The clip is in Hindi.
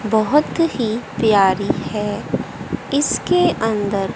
बहोत ही प्यारी है इसके अंदर--